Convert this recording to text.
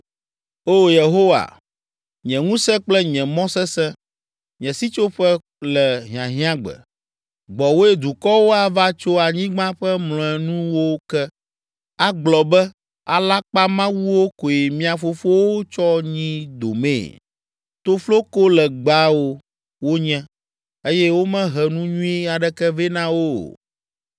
O Yehowa, nye ŋusẽ kple nye mɔ sesẽ, nye sitsoƒe le hiahiãgbe, gbɔwòe dukɔwo ava tso anyigba ƒe mlɔenuwo ke, agblɔ be, “Alakpamawuwo koe mia fofowo tsɔ nyi domee; toflokolegbawo wonye, eye womehe nu nyui aɖeke vɛ na wo o.